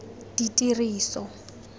ditiriso